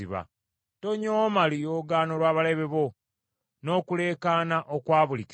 Tonyooma luyoogaano lw’abalabe bo, n’okuleekaana okwa buli kiseera.